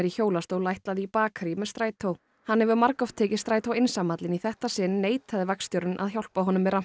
hjólastól ætlaði í bakarí með strætó hann hefur margoft tekið strætó einsamall en í þetta sinn neitaði vagnstjórinn að hjálpa honum með